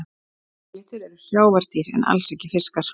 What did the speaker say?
Marglyttur eru sjávardýr en alls ekki fiskar.